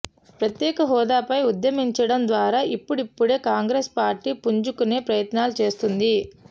ప్రత్యేక హోదాపై ఉద్యమించడం ద్వారా ఇప్పుడిప్పుడే కాంగ్రెస్ పార్టీ పుంజుకునే ప్రయత్నాలు చేస్తోంది